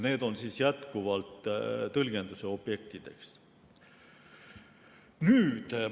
Need on jätkuvalt tõlgendamise objektideks.